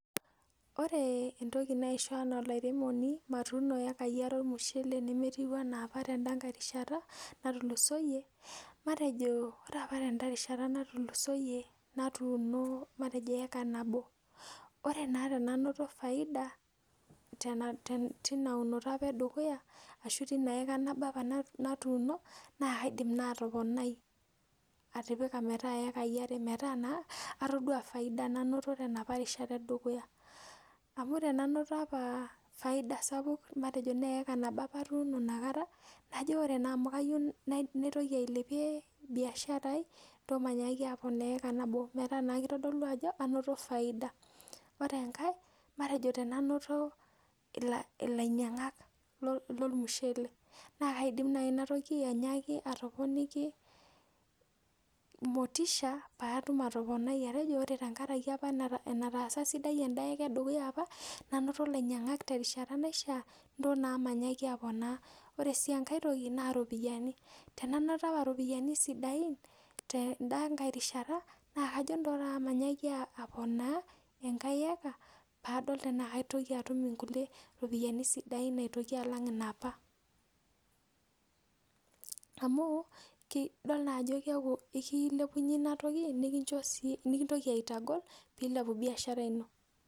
Ore entoki naisho enaa olairemoni matuuno iyekai are ormushele nemetiu ena opa tenda kae rishata natulusooyie, matejo ore opa tenda rishata natulusooyie natuuni matejo eeka nabo. Ore naa tenanoto faida tina unoto opa e dukuya ashu tina eka opa nabo naa kaadim naai atoponai atipika metaa iyekai are metaa naa atodua faida nanoto tenoopa rishata e dukuya. Amu tenanoto opa faida sapuk matejo naa eeka nabo opa atuuno inakata, najo ore naa amu ayieu naitoki ailepie biashara ai, ntoo mainyaaki aponaa eeka nabo metaa naa kitodolu ajo anoto faida. Ore enkae, matejo tenanoto ilainyang'ak lormushele, naa kaidim naai inatoki anyaaki atoponiki motusha paatum atoponai atejo ore tenkaraki opa enataasa esidai enda eka e dukuya opa, nainoto ilainyang'ak terishata naishia, ntoo naa mainyaaki aponaa. Ore sii enkae toki naa irpoyiani. Enanoto opa iropiyiani sidai tenda kae rishata naa kajo ntoo taata mainyaaki aponaa enkae eka paadol tenaa kaitoki atum inkulie ropiyiani sidain aitoki alang inoopa. Amu idol naa ajo keeku, aikilepunye ina toki nekintoki aitagol piilepu biashara ino